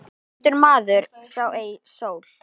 Dæmdur maður sá ei sól.